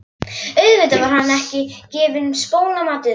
Auðvitað var henni ekki gefinn spónamatur.